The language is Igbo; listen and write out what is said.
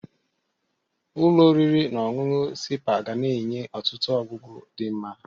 Ụlọ oriri na ọṅụṅụ sipa ga na-enye ọtụtụ ọgwụgwu di nma.